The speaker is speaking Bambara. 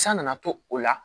San nana to o la